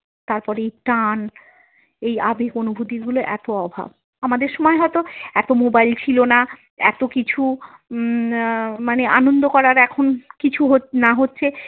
তারপরেই টান এই আবেগ অনুভূতি গুলো এতো অভাব আমাদের সময় হয়তো এতো মোবাইল ছিল না এতো কিছু উম মানে আনন্দ করার এখন কিছু না হচ্ছে।